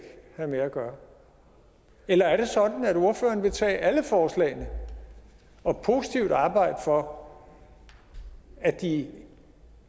have med at gøre eller er det sådan at ordføreren vil tage alle forslagene og positivt arbejde for at de